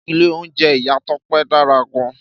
Ìlé ounjé Ìyá Tope dárá gan